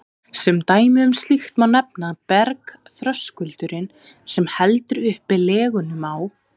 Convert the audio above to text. Sem dæmi um slíkt má nefna að bergþröskuldurinn, sem heldur uppi Leginum á